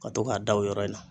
Ka to k'a da o yɔrɔ in na.